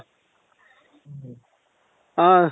ಹ